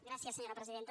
gràcies senyora presidenta